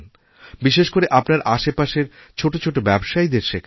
বিশেষ করে আপনারআশেপাশের ছোটো ছোটো ব্যবসায়ীদের শেখান